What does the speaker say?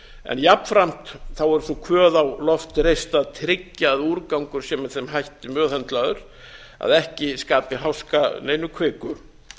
en jafnframt er sú kvöð á loft reist að tryggja að úrgangur sé með þeim hætti meðhöndlaður að ekki skapi háska að neinu kviku